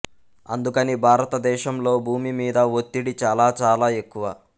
అందుకని భారతదేశంలో భూమి మీద ఒత్తిడి చాలా చాలా ఎక్కువ